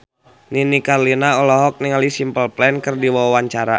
Nini Carlina olohok ningali Simple Plan keur diwawancara